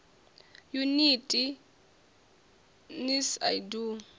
yuniti nls i d o